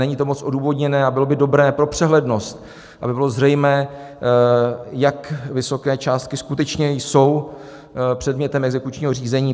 Není to moc odůvodněné a bylo by dobré pro přehlednost, aby bylo zřejmé, jak vysoké částky skutečně jsou předmětem exekučního řízení.